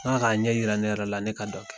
N k'a ka ɲɛ yira ne yɛrɛ la ne ka dɔ kɛ